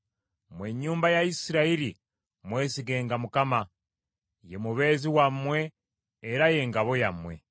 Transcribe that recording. Mmwe ennyumba ya Isirayiri mwesigenga Mukama , ye mubeezi wammwe era ye ngabo yammwe.